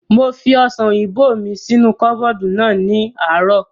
Mo fi ọ̀sàn òyìnbó mi sínú kọ́bọ̀dù náà ní àárọ̀